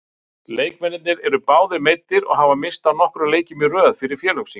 Leikmennirnir eru báðir meiddir og hafa misst af nokkrum leikjum í röð fyrir félögin sín.